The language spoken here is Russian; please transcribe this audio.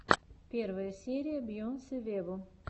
первая серия бейонсе вево